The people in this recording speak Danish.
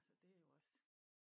Altså det er jo også